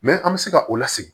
an bɛ se ka o lasegin